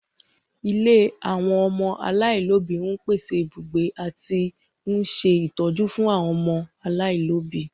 Ilé àwọn ọmọ aláìlóbi ń pèsè ibùgbé àti ń ṣe ìtọ́jú fún àwọn ọmọ aláìlóbi